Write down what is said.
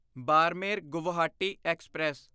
Barmer Guwahati express